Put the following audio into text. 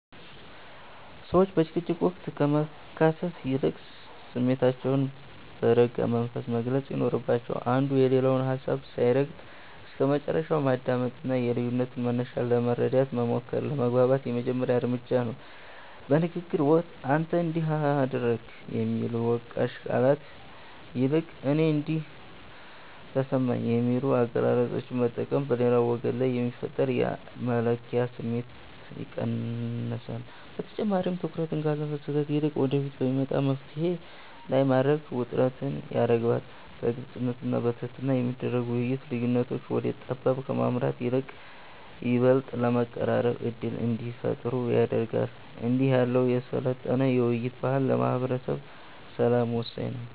ሰዎች በጭቅጭቅ ወቅት ከመካሰስ ይልቅ ስሜታቸውን በረጋ መንፈስ መግለጽ ይኖርባቸዋል። አንዱ የሌላውን ሀሳብ ሳይረግጥ እስከመጨረሻው ማዳመጥና የልዩነቱን መነሻ ለመረዳት መሞከር ለመግባባት የመጀመሪያው እርምጃ ነው። በንግግር ወቅት "አንተ እንዲህ አደረግክ" ከሚሉ ወቃሽ ቃላት ይልቅ "እኔ እንዲህ ተሰማኝ" የሚሉ አገላለጾችን መጠቀም በሌላው ወገን ላይ የሚፈጠርን የመከላከያ ስሜት ይቀንሳል። በተጨማሪም፣ ትኩረትን ካለፈ ስህተት ይልቅ ወደፊት በሚመጣ መፍትሔ ላይ ማድረግ ውጥረትን ያረግባል። በግልጽነትና በትህትና የሚደረግ ውይይት፣ ልዩነቶች ወደ ጠብ ከማምራት ይልቅ ይበልጥ ለመቀራረብ ዕድል እንዲፈጥሩ ያደርጋል። እንዲህ ያለው የሰለጠነ የውይይት ባህል ለማህበረሰብ ሰላም ወሳኝ ነው።